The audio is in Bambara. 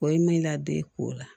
O ye min ladon ko la